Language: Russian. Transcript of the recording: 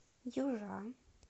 южа